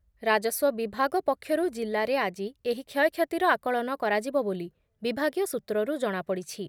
ରାଜସ୍ଵ ବିଭାଗ ପକ୍ଷରୁ ଜିଲ୍ଲାରେ ଆଜି ଏହି କ୍ଷୟକ୍ଷତିର ଆକଳନ କରାଯିବ ବୋଲି ବିଭାଗୀୟ ସୂତ୍ରରୁ ଜଣାପଡ଼ିଛି ।